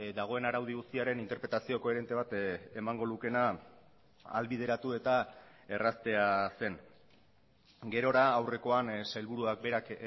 dagoen araudi guztiaren interpretazio koherente bat emango lukeena ahalbideratu eta erraztea zen gerora aurrekoan sailburuak berak